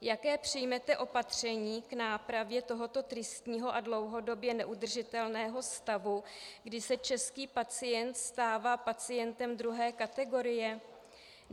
Jaká přijmete opatření k nápravě tohoto tristního a dlouhodobě neudržitelného stavu, kdy se český pacient stává pacientem druhé kategorie?